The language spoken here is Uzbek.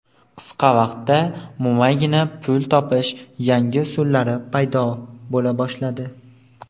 qisqa vaqtda mo‘maygina pul topishning yangi usullari paydo bo‘la boshladi.